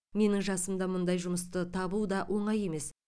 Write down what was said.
менің жасымда мұндай жұмысты табу да оңай емес